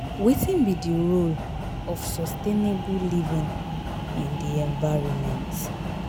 Wetin be di role of sustainable living in di environment?